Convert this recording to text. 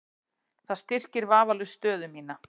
Það styrkir vafalaust stöðu mína.